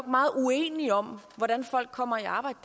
meget uenige om hvordan folk kommer i arbejde